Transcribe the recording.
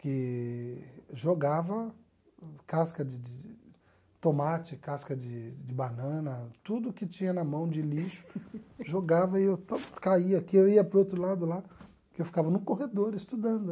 que jogava casca de de tomate, casca de de banana, tudo que tinha na mão de lixo, jogava e eu caía aqui, eu ia para o outro lado lá, porque eu ficava no corredor estudando.